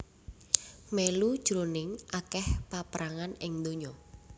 mèlu jroning akèh paprangan ing donya